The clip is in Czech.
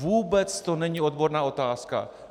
Vůbec to není odborná otázka.